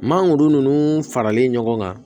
Mangoro ninnu faralen ɲɔgɔn kan